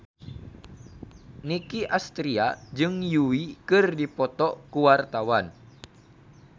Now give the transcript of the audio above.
Nicky Astria jeung Yui keur dipoto ku wartawan